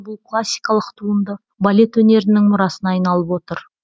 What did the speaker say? бұл классикалық туынды балет өнерінің мұрасына айналып отыр